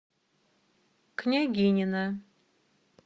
княгинино